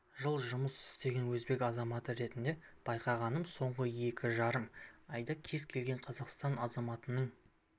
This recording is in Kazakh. жыл жұмыс істеген өзбек азаматы ретінде байқағаным соңғы екі жарым айда кез келген қазақстан азаматының